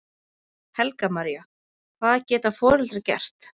Helga María: Hvað geta foreldrar gert?